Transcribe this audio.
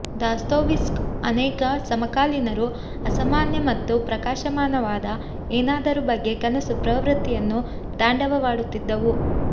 Dostoevsky ಅನೇಕ ಸಮಕಾಲೀನರು ಅಸಾಮಾನ್ಯ ಮತ್ತು ಪ್ರಕಾಶಮಾನವಾದ ಏನಾದರೂ ಬಗ್ಗೆ ಕನಸು ಪ್ರವೃತ್ತಿಯನ್ನು ತಾಂಡವವಾಡುತ್ತಿದ್ದವು